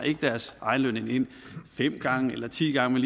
deres egen løn ind fem eller ti gange